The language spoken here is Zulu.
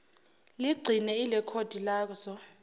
ligcine ilekhodi lazo